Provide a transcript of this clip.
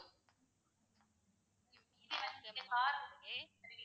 ma'am